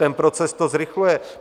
Ten proces to zrychluje.